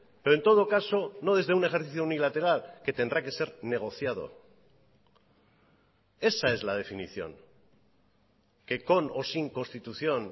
pero en todo caso no desde un ejercicio unilateral que tendrá que ser negociado esa es la definición que con o sin constitución